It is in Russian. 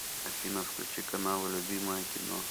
афина включи каналы любимое кино